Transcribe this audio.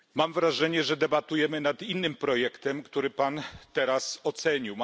Mam wrażenie, że debatujemy nad innym projektem, który Pan teraz ocenił.